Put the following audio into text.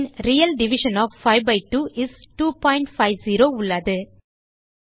bin real division of 5 by 2 is 250 உள்ளது